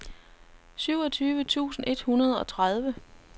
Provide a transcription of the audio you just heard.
syvogtyve tusind et hundrede og tredive